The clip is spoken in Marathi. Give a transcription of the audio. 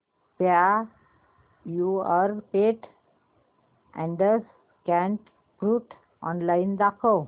Purepet adult cat food online दाखव